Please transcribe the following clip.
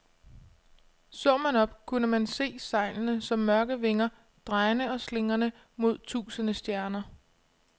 Så man op, kunne man se sejlene som mørke vinger, drejende og slingrende mod tusinde stjerner.